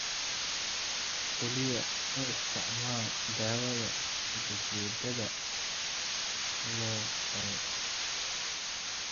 Kaliya u isticmaal daawada ujeeddadeeda loo qoray.